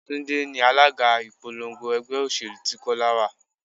Túndé ni alága ìpolongo ẹgbẹ́ òṣèlú tí Kọ́lá wá.